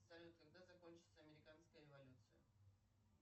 салют когда закончится американская революция